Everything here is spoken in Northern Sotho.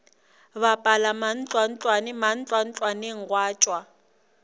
bapala mantlwantlwane mantlwantlwaneng gwa tšwa